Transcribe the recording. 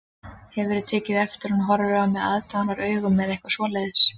Hefurðu tekið eftir að hún horfi á mig aðdáunaraugum eða eitthvað svoleiðis